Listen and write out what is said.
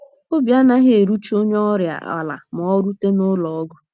Obi anaghị erucha onye ọrịa ala ma o rute n’ụlọ ọgwụ.